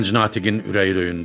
Gənc natiqin ürəyi döyündü.